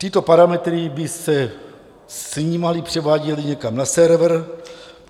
Tyto parametry by se snímaly, převáděly někam na server.